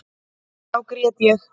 Þá grét ég.